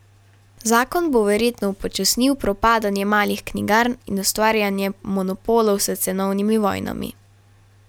Zakon bo verjetno upočasnil propadanje malih knjigarn in ustvarjanje monopolov s cenovnimi vojnami.